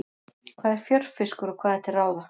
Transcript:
Hvað er fjörfiskur og hvað er til ráða?